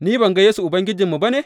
Ni ban gan Yesu Ubangijinmu ba ne?